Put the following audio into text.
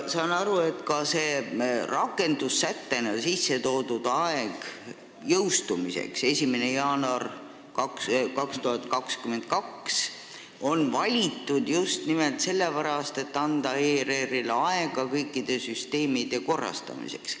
Saan aru, et rakendust silmas pidavas sättes kehtestatud jõustumisaeg 1. jaanuar 2022 on valitud just sellepärast, et anda ERR-ile aega kõikide süsteemide arendamiseks.